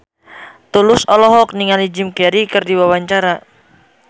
Tulus olohok ningali Jim Carey keur diwawancara